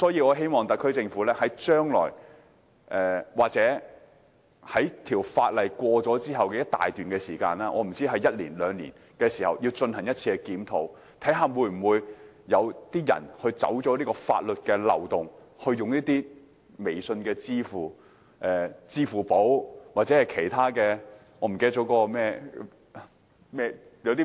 我希望特區政府將來或在法例通過後的一段時間內——可能是一兩年——進行檢討，以了解是否有人利用法律漏洞，例如利用微信支付、支付寶或其他支付模式。